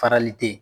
Farali tɛ yen